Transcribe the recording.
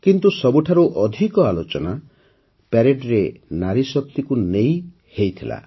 କିନ୍ତୁ ସବୁଠାରୁ ଅଧିକ ଆଲୋଚନା ପରେଡ୍ରେ ନାରୀ ଶକ୍ତିକୁ ନେଇ ହୋଇଥିଲା